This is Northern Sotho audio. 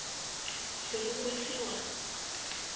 se re o se wa